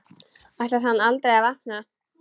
Ætlar hann aldrei að vakna?